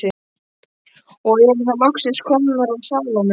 Og erum þá loksins komnar að Salóme.